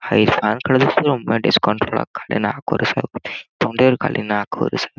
Ice ಹರ್ಕೊಂಡದಷ್ಟು discount ಮಡ್ಯಾರ್ ಖಾಲಿ ನಾಕ್ ವರೆ ಸಾವಿರ ತೊಂಡೆಡ್ ಖಾಲಿ ನಾಕ್ವರ್ ಸಾವ್ರ್ .